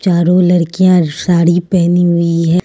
चारो लड़कियां साड़ी पहनी हुई है।